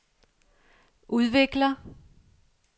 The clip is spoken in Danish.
udvikler